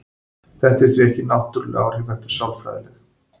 Þetta eru því ekki náttúruleg áhrif heldur sálfræðileg.